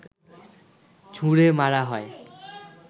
ছুঁড়ে মারা হয়